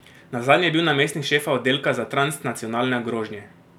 Nazadnje je bil namestnik šefa oddelka za transnacionalne grožnje.